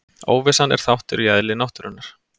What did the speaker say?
Óvissan er þáttur í eðli náttúrunnar.